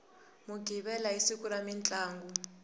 mughivela i siku ra mintlangu